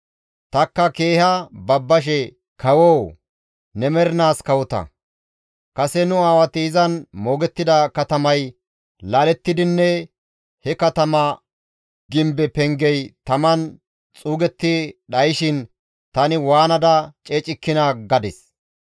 Tanikka keeha babbashe, «Kawoo! Ne mernaas kawota! Kase nu aawati izan moogettida katamay laalettidinne he katama gimbe pengey taman xuugetti dhayshin tani waanada ceecikkinaa!» gadis.